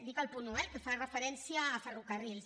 dic el punt un eh el que fa referència a ferrocarrils